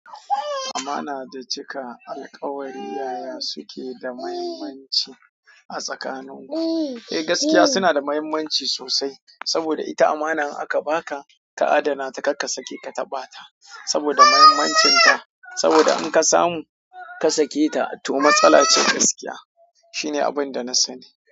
Amana da cika alkawari, yaya suke da muhimmanci a tsakaninmu? Eh, gaskiya suna da mahimmanci sosai. Saboda ita amana in aka baka, ka adana ta, kar ka sake ka taɓa ta saboda muhimmancin ta. Saboda in ka samu ka sake ta, to matsala ce gaskiya. Shine abin da na sani.